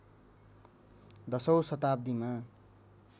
१० औँ शताब्दीमा